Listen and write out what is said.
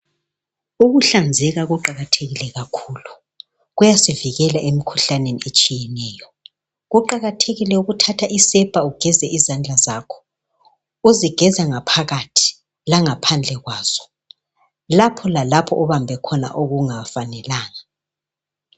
Ukuhlanzeka kuqakathekile kakhulu kuyasivikela emkhuhlaneni etshiyeneyo kuqakathekile ukuthatha isepa ugeze izandla zakho uzigeza ngaphakathi langaphandle kwazo lapho lalapho obambe khona okungafanelanga.